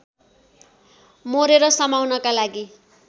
मोरेर समाउनका लागि